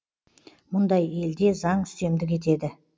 мұндай елде заң үстемдік етеді